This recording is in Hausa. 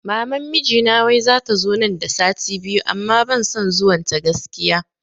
Maman mijina wai zata zo nan da sati biyu amma ban son zuwan ta gaskiya